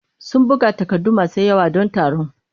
Sun buga takardu masu yawa don taron.